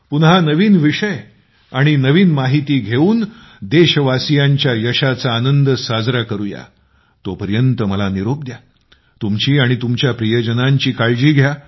पुन्हा नवीन विषय आणि नवीन माहिती घेऊन देशवासीयांच्या यशाचा आनंद साजरा करूया तोपर्यंत मला निरोप द्या आणि तुमची आणि तुमच्या प्रियजनांची काळजी घ्या